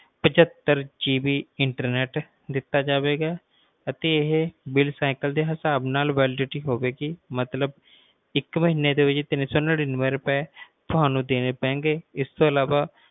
ਪਚੱਤਰ ਨੇਤ ਦਿੱਤਾ ਜਾਵੇਗਾ ਅਤੇ ਇਹ validity ਦੇ ਹਿਸਾਬ ਨਾਲ ਹੋਵੇਗੀ ਮਤਲਬ ਇੱਕ ਮਹੀਨੇ ਦੇ ਤਿੰਨ ਸੌ ਨਾਨੀਂਵੇ ਰੁਪਏ ਤੁਹਾਨੂੰ ਦੇਣੇ ਪੈਣਗੇ ਇਸ ਤੋਂ ਅਲਾਵਾ